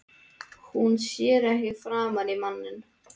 Hún sér ekki framan í manninn.